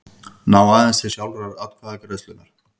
ná aðeins til sjálfrar atkvæðagreiðslunnar.